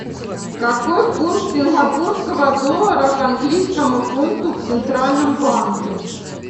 какой курс сингапурского доллара к английскому фунту в центральном банке